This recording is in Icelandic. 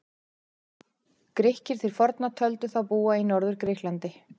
Grikkir til forna töldu þá búa í Norður-Grikklandi.